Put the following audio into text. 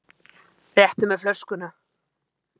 Réttu mér flöskuna.